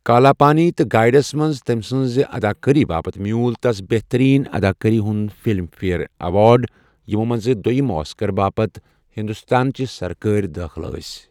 کالا پانی تہٕ گایڑس منٛز تٔمۍ سٕنٛزِ اداكٲری باپتھ میٛوٗل تس بہترین اداکٲری ہنٛد فِلم فیر ایوارڑ، یِمو منٛزٕ دوٚیِم آسكر باپتھ ہِندوستانچہِ سركٲرۍ دٲخلہٕ ٲس۔